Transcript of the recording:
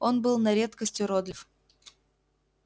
он был на редкость уродлив